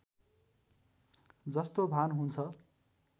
जस्तो भान हुन्छ